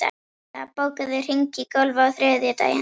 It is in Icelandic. Inda, bókaðu hring í golf á þriðjudaginn.